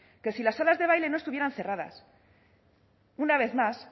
que si las salas de baile no estuvieran cerradas una vez más